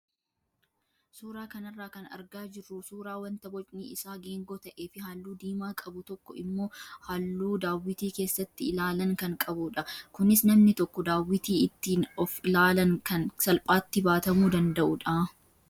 Suuraa kanarraa kan argaa jirru suuraa wanta bocni isaa geengoo ta'ee fi halluu diimaa qabu tokko immoo halluu daawwitii keessatti ilaalan kan qabudha. Kunis namni tokko daawwitii ittiin of ilaalan kan salphaatti baatamuu danda'udha.